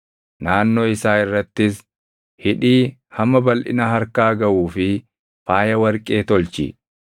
Naannoo isaa irrattis hidhii hamma balʼina harkaa gaʼuu fi faaya warqee tolchi.